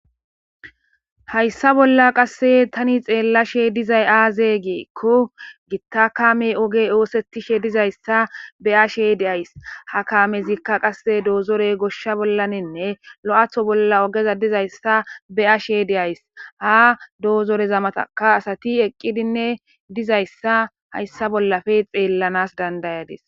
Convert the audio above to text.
Hayssa bolla qassi tani xeellashe dizaa aazee giikko gita kaamee ogee ooseththishideezizayssa be7ashee de7ays; ha kaameththikka qassi doozoree goshsha bollaaninne lo7atho bolla oge dizayssa be7ashee de7ays; ha doozore zamathakka asathi eqqidinne dizayssa hayssa bolla xellanaas danddayadee.